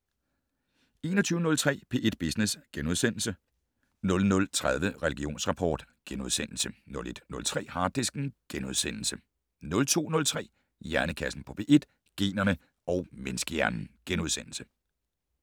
21:03: P1 Business * 00:30: Religionsrapport * 01:03: Harddisken * 02:03: Hjernekassen på P1: Generne og menneskehjernen *